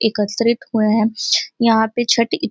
एकत्रित हुए है। यहाँ पे छठ --